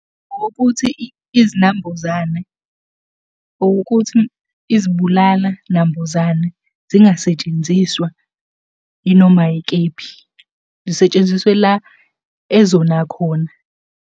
Ukuthi izinambuzane, ukuthi izibulala nambuzane zingasetshenziswa yinoma yikephi, zisetshenziswe la ezona khona.